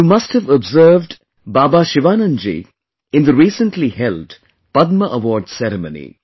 you must have observed Baba Sivanand ji in the recently held Padma Awards ceremony